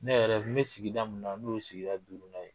Ne yɛrɛ n bɛ sigida mun na n'o sigida duuru nan ye.